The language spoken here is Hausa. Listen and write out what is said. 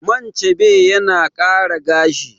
Man chebe yana ƙara gashi